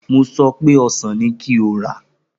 Mo so pé ọsàn ni kí o rà!